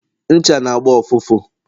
ncha n' agba ụfụfụ